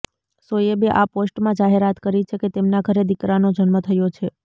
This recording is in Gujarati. શોએબે આ પોસ્ટમાં જાહેરાત કરી છે કે તેમના ઘરે દીકરાનો જન્મ થયો છે